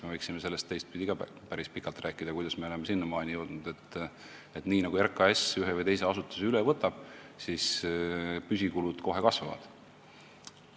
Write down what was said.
Me võiksime päris pikalt rääkida ka sellest, kuidas me oleme sinnamaani jõudnud, et nii nagu RKAS ühe või teise asutuse üle võtab, nii püsikulud kohe kasvavad.